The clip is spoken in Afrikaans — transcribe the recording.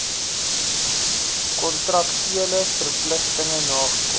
kontraktuele verpligtinge nagekom